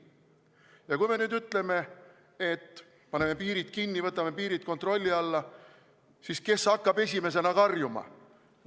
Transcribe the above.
Ja kui me nüüd ütleme, et paneme piirid kinni, võtame piirid kontrolli alla, siis kes hakkab esimesena karjuma?